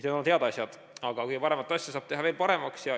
Need on head asjad, aga ka kõige paremat asja saab teha veel paremaks.